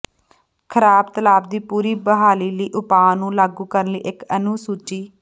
ਖਰਾਬ ਤਲਾਬ ਦੀ ਪੂਰੀ ਬਹਾਲੀ ਲਈ ਉਪਾਅ ਨੂੰ ਲਾਗੂ ਕਰਨ ਲਈ ਇੱਕ ਅਨੁਸੂਚੀ